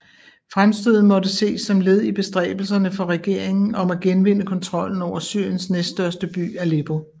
Fremstødet måtte ses som led i bestræbelserne for regeringen om at genvinde kontrollen over Syriens næststørste by Aleppo